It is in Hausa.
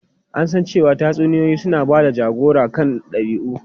An san cewa tatsuniyoyi suna ba da jagora kan dabi'u.